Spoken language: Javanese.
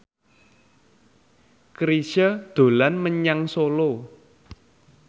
Chrisye dolan menyang Solo